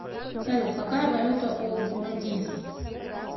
салют какая валюта у бурундийцев